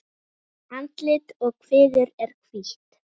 Andlit og kviður er hvítt.